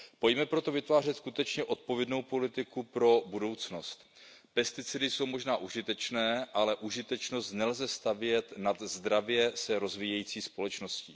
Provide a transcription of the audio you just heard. Pojďme proto vytvářet skutečně odpovědnou politiku pro budoucnost. Pesticidy jsou možná užitečné, ale užitečnost nelze stavět nad zdravě se rozvíjející společnost.